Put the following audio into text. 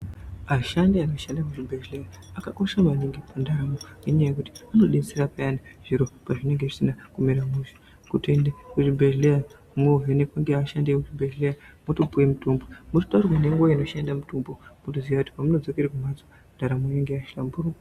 Ashandi anoshanda muzvibhedlera akakosha maningi munharaunda nenyaya yekuti anodetsrra peyani zviro pazvinenge zvisina kumira mushe kutoende kuzvibhedhlera movhenekwa neashandi ekuzvibhehlera wotopiwe mutombo mochitaurirwa nenguva inoshande mutombo pamunodzokere kumhatso ndaramo inenge yahlamburuka .